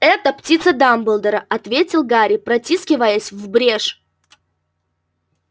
это птица дамблдора ответил гарри протискиваясь в брешь